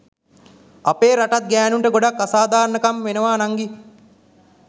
අපේ රටත් ගෑණුන්ට ගොඩක් අසාදාරනකමි වෙනවා නංගි.